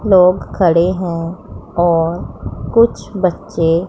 लोग खड़े हैं और कुछ बच्चे--